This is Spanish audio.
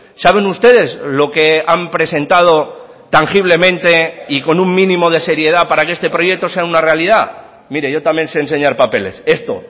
saben ustedes lo que han presentado tangiblemente y con un mínimo de seriedad para que este proyecto sea una realidad mire yo también se enseñar papeles esto